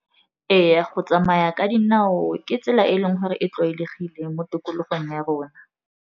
Ee, go tsamaya ka dinao ke tsela e e leng gore e tlwaelegile mo tikologong ya rona.